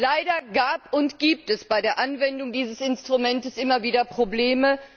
Leider gab und gibt es bei der Anwendung dieses Instruments immer wieder Probleme.